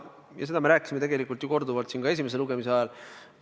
Seda me rääkisime ju korduvalt ka esimese lugemise ajal.